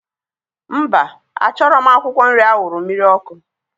Mba, a chọrọ m akwụkwọ nri awuru mmiri ọkụ?